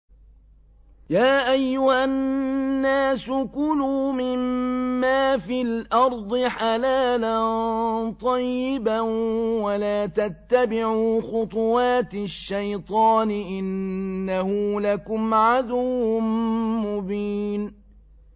يَا أَيُّهَا النَّاسُ كُلُوا مِمَّا فِي الْأَرْضِ حَلَالًا طَيِّبًا وَلَا تَتَّبِعُوا خُطُوَاتِ الشَّيْطَانِ ۚ إِنَّهُ لَكُمْ عَدُوٌّ مُّبِينٌ